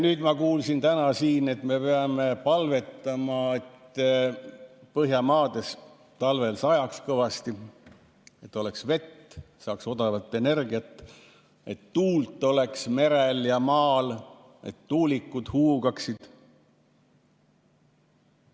Nüüd ma kuulsin täna siin, et me peame palvetama, et Põhjamaades talvel kõvasti sajaks, et oleks vett, saaks odavat energiat, et tuult oleks merel ja maal, et tuulikud huugaksid.